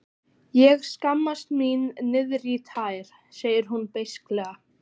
Ég skammast mín niðrí tær, sagði hún beisklega.